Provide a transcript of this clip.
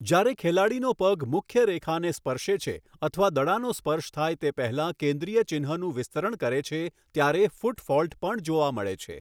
જ્યારે ખેલાડીનો પગ મુખ્યરેખાને સ્પર્શે છે અથવા દડાનો સ્પર્શ થાય તે પહેલાં કેન્દ્રીય ચિહ્નનું વિસ્તરણ કરે છે ત્યારે 'ફૂટ ફોલ્ટ' પણ જોવા મળે છે.